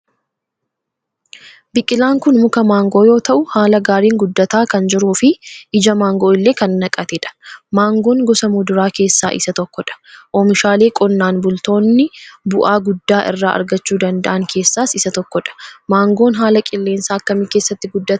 Biqilaan kun muka maangoo yoo ta'u haala gaariin guddataa kan jiruufi ija maangoo illee kan naqate dha. Maangoon gosa muduraa keessaa isa tokko dha. Oomishaalee qonnaan bultoonni bu'aa guddaa irraa argachuu danda'an keessaas isa tokko dha. Maangoon haala qilleensa akkamii keessatti guddataa ?